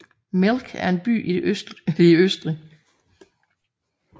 Melk er en by i det østlige Østrig